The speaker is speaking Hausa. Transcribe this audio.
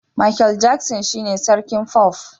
Makel Jaksin shine sarkin fof